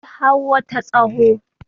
akwai hawo ta tsaho